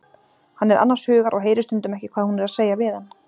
Hann er annars hugar og heyrir stundum ekki hvað hún er að segja við hann.